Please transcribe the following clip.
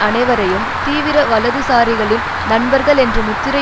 அனைவரையும் தீவிர வலதுசாரிகளின் நண்பர்கள் என்று முத்திரை